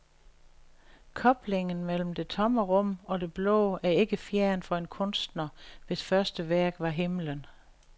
Koblingen mellem det tomme rum og det blå er ikke fjern for en kunstner, hvis første værk var himlen.